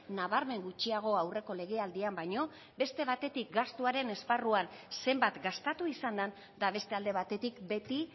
nabarmen gutxiago aurreko legealdian baino beste batetik gastuaren esparruan zenbat gastatu izan den eta beste alde batetik beti